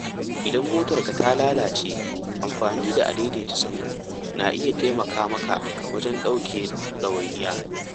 Idan motarka ta lalace, amfani da a-daidaita-sahu na iya taimaka maka wajen ɗauke ɗawainiya.